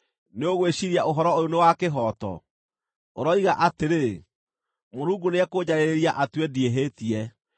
“Nĩũgwĩciiria ũhoro ũyũ nĩ wa kĩhooto? Ũroiga atĩrĩ, ‘Mũrungu nĩekũnjarĩrĩria atue ndiĩhĩtie.’